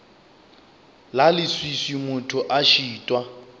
la leswiswi motho a šitwa